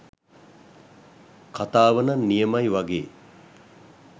කතාවනම් නියමයි වගේ